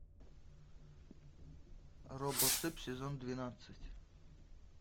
робоцып сезон двенадцать